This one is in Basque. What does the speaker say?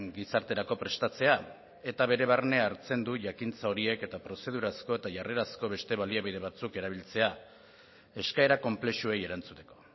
gizarterako prestatzea eta bere barne hartzen du jakintza horiek eta prozedurazko eta jarrerazko beste baliabide batzuk erabiltzea eskaera konplexuei erantzuteko